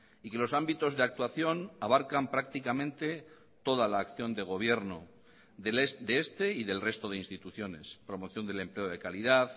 y que los ámbitos de actuación abarcan prácticamente toda la acción de gobierno de este y del resto de instituciones promoción del empleo de calidad